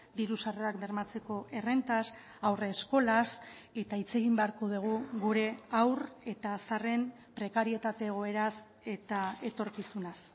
diru sarrerak bermatzeko errentaz haurreskolaz eta hitz egin beharko dugu gure haur eta zaharren prekarietate egoeraz eta etorkizunaz